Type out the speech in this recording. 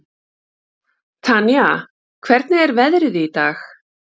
Tanía, hvernig er veðrið í dag?